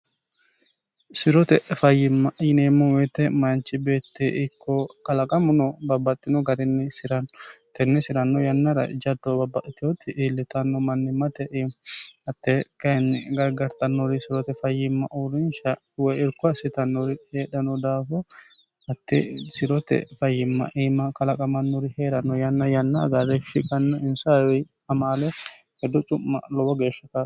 sirote fayyimma yineemmo moyite mayinchi beette ikko kalaqamu no babbaxxino garinni siranno tenni si'ranno yannara jaddo babbateoti iillitanno manni mate im hatte kayiinni gargartannori sirote fayyimma uurinsha woy irko hassitannori heedhano daafo hatte sirote fayyimma iima kalaqamannori heeranno yanna yanna hagarreshshi gannu insihari amaale heddo cu'ma lowo geeshsha kao